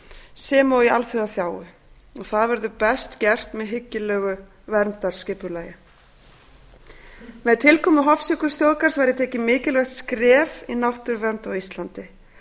sem og í alþjóðaþágu það verður best gert með hyggilegu verndarskipulagi með tilkomu hofsjökulsþjóðgarðs væri tekið mikilvægt skref í náttúruvernd á íslandi